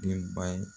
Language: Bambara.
Denbaya